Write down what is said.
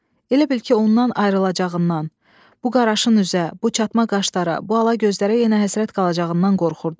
Elə bil ki, ondan ayrılacağından, bu qaraşın üzə, bu çatma qaşlara, bu ala gözlərə yenə həsrət qalacağından qorxurdu.